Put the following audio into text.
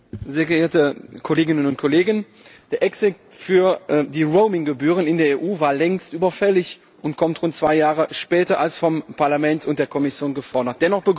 Herr Präsident, sehr geehrte Kolleginnen und Kollegen! Der Exit für die Roaming Gebühren in der EU war längst überfällig und kommt rund zwei Jahre später als vom Parlament und der Kommission gefordert.